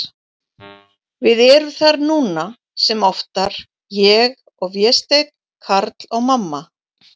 Við erum þar núna, sem oftar, ég og Vésteinn, Karl og mamma.